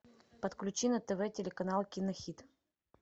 подключи на тв телеканал кинохит